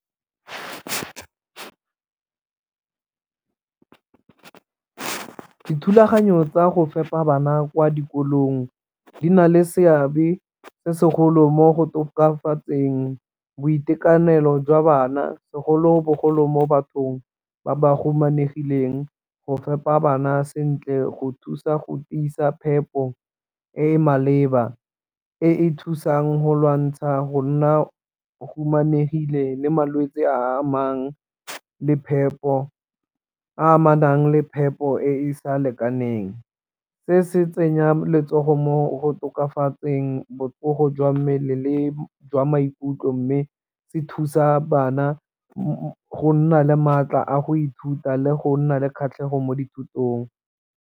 Dithulaganyo tsa go fepa bana kwa dikolong di na le seabe se segolo mo go tokafatseng boitekanelo jwa bana segolobogolo mo bathong ba ba humanegileng, go fepa bana sentle go thusa go tiisa phepo e e maleba e e thusang go lwantsha go nna humanegile le malwetse a amanang le phepo e e sa lekaneng. Se se tsenya letsogo mo go tokafatseng botsogo jwa mmele le jwa maikutlo, mme se thusa bana go nna le maatla a go ithuta le go nna le kgatlhego mo dithutong.